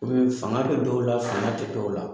Fanga bɛ dɔw la fanga tɛ dɔw la